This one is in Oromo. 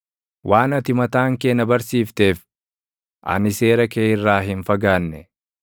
Waan ati mataan kee na barsiifteef, ani seera kee irraa hin fagaanne.